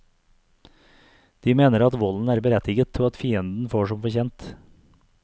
De mener at volden er berettiget og at fienden får som fortjent.